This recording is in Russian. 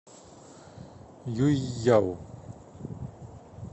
юйяо